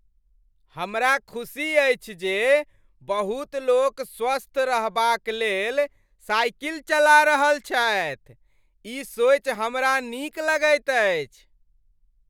हमरा खुसी अछि जे बहुत लोक स्वस्थ रहबाक लेल साइकिल चला रहल छथि। ई सोचि हमरा नीक लगैत अछि।